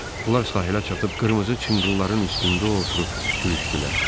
Onlar sahilə çatıb qırmızı çınqılların üstündə oturub gülüşdülər.